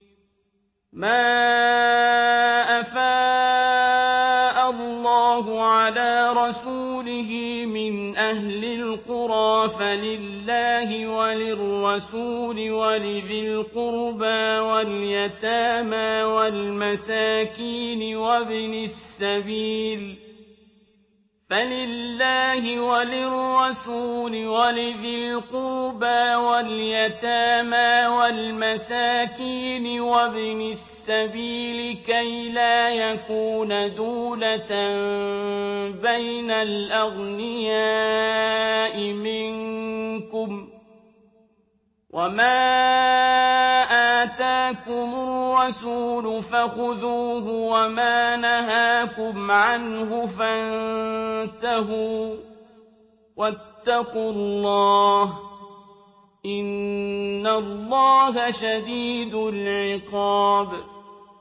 مَّا أَفَاءَ اللَّهُ عَلَىٰ رَسُولِهِ مِنْ أَهْلِ الْقُرَىٰ فَلِلَّهِ وَلِلرَّسُولِ وَلِذِي الْقُرْبَىٰ وَالْيَتَامَىٰ وَالْمَسَاكِينِ وَابْنِ السَّبِيلِ كَيْ لَا يَكُونَ دُولَةً بَيْنَ الْأَغْنِيَاءِ مِنكُمْ ۚ وَمَا آتَاكُمُ الرَّسُولُ فَخُذُوهُ وَمَا نَهَاكُمْ عَنْهُ فَانتَهُوا ۚ وَاتَّقُوا اللَّهَ ۖ إِنَّ اللَّهَ شَدِيدُ الْعِقَابِ